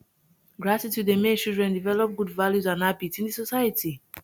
gratitude dey make children develop good values and habits in the society